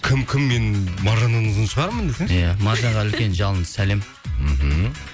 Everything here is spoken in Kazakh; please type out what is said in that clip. кім кім мен маржаннан ұзын шығармын десеңші иә маржанға үлкен жалынды сәлем мхм